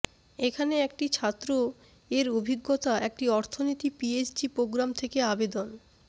এখানে একটি ছাত্র এর অভিজ্ঞতা একটি অর্থনীতি পিএইচডি প্রোগ্রাম থেকে আবেদন